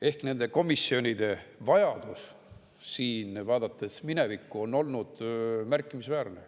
Ehk nende komisjonide vajadus siin, vaadates minevikku, on olnud märkimisväärne.